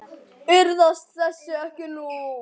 Iðrast þess ekki nú.